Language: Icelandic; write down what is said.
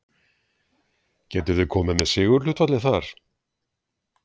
Getur þú komið með sigurhlutfallið þar?